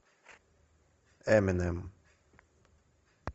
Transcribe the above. эминем